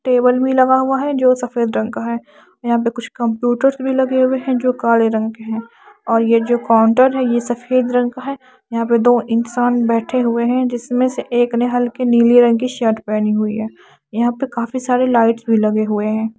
Table भी लगा हुआ है जो सफेद रंग का है यहां पे कुछ कम्प्यूटर भी लगे हुए है जो काले रंग के है और ये जो काउंटर है ये सफेद रंग का है यहां पे दो इंसान बैठे हुए है जिसमें से एक ने हल्के नीले रंग की शर्ट पहनी हुई है यहां पे काफ़ी सारी लाइट्स भी लगे हुए है।